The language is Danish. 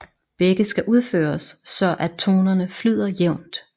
Begge skal udføres så at tonerne flyder jævnt